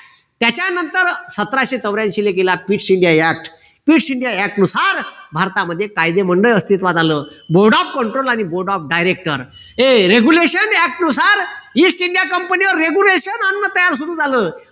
सतराशे चौऱ्यांशीला केला नुसार भारतामध्ये कायदेमंडळ अस्तित्वात आलं board of control आणि board of director हे regulation act नुसार ईस्ट इंडिया कंपनी वर regulation आणण तयार सुरु झालं